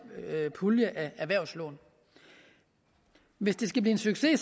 pulje af erhvervslån hvis det skal blive en succes